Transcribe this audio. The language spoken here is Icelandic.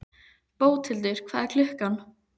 Bóthildur, hvað er klukkan?